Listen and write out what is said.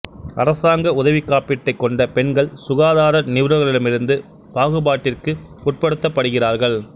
அரசாங்க உதவி காப்பீட்டைக் கொண்ட பெண்கள் சுகாதார நிபுணர்களிடமிருந்து பாகுபாட்டிற்கு உட்படுத்தப் படுகிறார்கள்